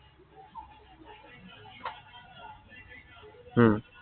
উম